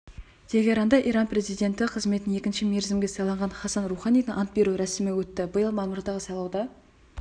тегеранда иран президенті қызметіне екінші мерзімге сайланған хассан роуханидің ант беру рәсімі өтті биыл мамырдағы сайлауда